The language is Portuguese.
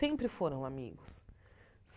Sempre foram amigos.